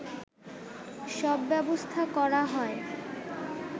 সব ব্যবস্থা করা হয়